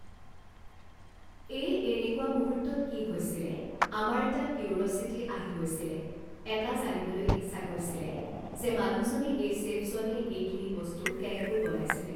এ এনেকুৱা মুহূৰ্তত কি হৈছিলে আমাৰ এটা কিউৰিঅছিটি আহি গৈছিলে এটা জানিবলৈ ইচ্ছা গৈছিলে যে মানুহজনে এই চেফজনে এইখিনি বস্তু কেনেকৈ বনাইছিলে